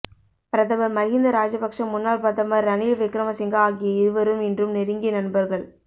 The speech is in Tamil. பிரதமர் மஹிந்த ராஜபக்ஷ முன்னாள் பிரதமர் ரணில் விக்ரமசிங்க ஆகிய இருவரும் இன்றும் நெருங்கிய நண்பர்கள்